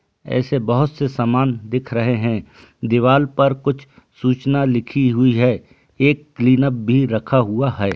ऐसे बहुत से सामान दिख रहे हैं दीवार पर कुछ सूचना लिखी हुई है एक क्लीन अप भी रखा हुआ है।